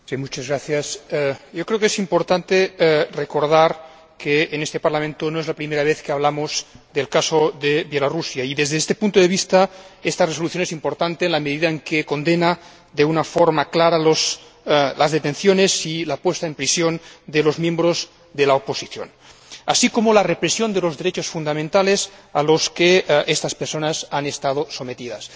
Señor Presidente, creo que es importante recordar que en este Parlamento no es la primera vez que hablamos de Belarús y, desde este punto de vista, esta Resolución es importante en la medida en que condena de una forma clara las detenciones y el encarcelamiento de los miembros de la oposición, así como la represión de los derechos fundamentales a la que estas personas han estado sometidas.